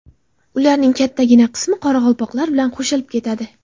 Ularning kattagina qismi qoraqalpoqlar bilan qo‘shilib ketadi.